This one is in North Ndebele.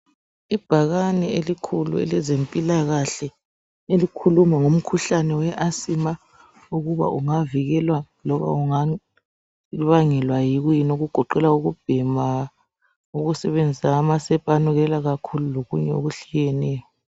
Ibhakane elikhulu. elezempilakahle elikhuluma ngomkhuhlane we asima ukuba ungavikelwa loba ubangelwa kuyini okugoqela ukubhema, ukusebenzisa amasepa anukelela kakhulu lokunye okuhlukeneyo.